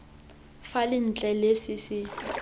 fela ntle le se se